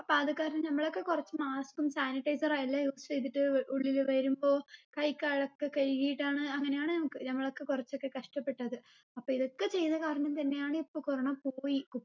അപ്പൊ അത് കാരണം നമ്മളൊക്കെ കുറച്ച് mask ഉം sanitizer ഉ എല്ലാം use ചെയ്തിട്ട് ഉള്ളില് വരുമ്പോ കൈകാലൊക്കെ കഴുകിട്ടാണ് അങ്ങനെയാണ് ഞങ്ങളൊക്കെ കുറച്ചൊക്കെ കഷ്ട്ടപ്പെട്ടത് അപ്പൊ ഇതൊക്കെ ചെയ്ത കാരണം തന്നെയാണ് ഇപ്പൊ corona പോയി